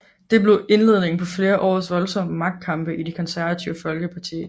Det blev indledningen på flere års voldsomme magtkampe i Det Konservative Folkeparti